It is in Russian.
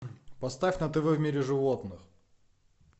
поставь на тв в мире животных